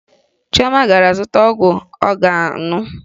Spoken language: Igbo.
Chioma gara zụta ọgwụ ọ ga-aṅụ